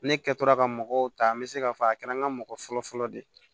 Ne kɛtɔra ka mɔgɔw ta n bɛ se k'a fɔ a kɛra n ka mɔgɔ fɔlɔfɔlɔ de ye